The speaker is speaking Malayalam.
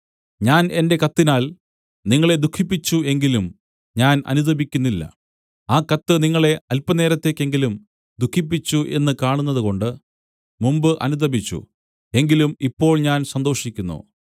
ഞാൻ എന്റെ കത്തിനാൽ നിങ്ങളെ ദുഃഖിപ്പിച്ചു എങ്കിലും ഞാൻ അനുതപിക്കുന്നില്ല ആ കത്ത് നിങ്ങളെ അല്പനേരത്തേക്കെങ്കിലും ദുഃഖിപ്പിച്ചു എന്ന് കാണുന്നതുകൊണ്ട് മുമ്പ് അനുതപിച്ചു എങ്കിലും ഇപ്പോൾ ഞാൻ സന്തോഷിക്കുന്നു